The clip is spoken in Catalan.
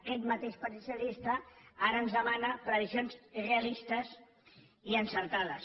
aquest mateix partit socialista ara ens demana previsions realistes i encertades